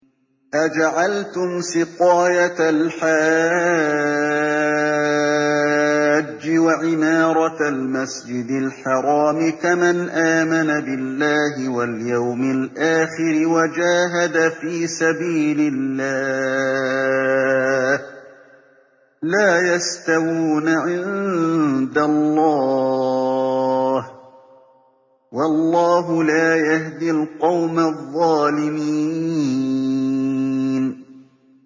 ۞ أَجَعَلْتُمْ سِقَايَةَ الْحَاجِّ وَعِمَارَةَ الْمَسْجِدِ الْحَرَامِ كَمَنْ آمَنَ بِاللَّهِ وَالْيَوْمِ الْآخِرِ وَجَاهَدَ فِي سَبِيلِ اللَّهِ ۚ لَا يَسْتَوُونَ عِندَ اللَّهِ ۗ وَاللَّهُ لَا يَهْدِي الْقَوْمَ الظَّالِمِينَ